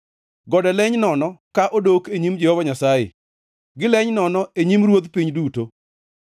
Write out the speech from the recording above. Gode leny nono ka odok e nyim Jehova Nyasaye, gileny nono e nyim Ruoth piny duto.